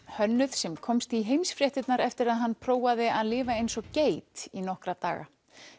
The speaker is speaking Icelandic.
hönnuð sem komst í heimsfréttirnar eftir að hann prófaði að lifa eins og geit í nokkra daga